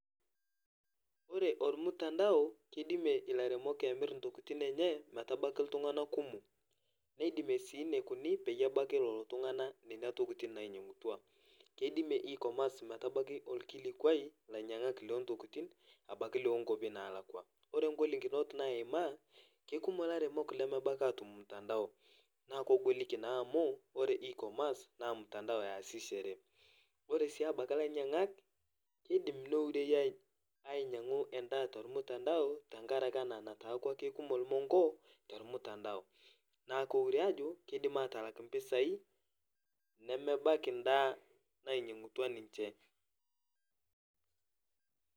Ore olmutandao keidimie ilairemok emirr intokitin enye metabaki iltung'ana kumok. Neidimie sii neikuni peyie ebaki lolo tung'ana nena tokitin nainyang'utua. Keidimie e-commerce metabaki olkilikuai ilainyang'ak loontokitin abaki loonkuopi naalakua. Ore ngolikinot naimaa kekumok laremok lemebaki atum mutandao naa kogoliki naa amu ore e-commerce naa mutandao easishore. Ore sii abaki lainyang'ak keidim neireyu [aih] ainyang'u endaa tolmutandao tengarake ena nataakua kekumok ilmongo tolmutandao. Naaku eure ajo keidim atalak impisai nemebaki ndaa nainyang'utua ninche.